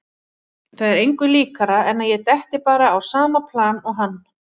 Það er engu líkara en að ég detti bara á sama plan og hann.